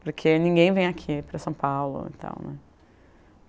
Porque ninguém vem aqui para São Paulo e tal, né?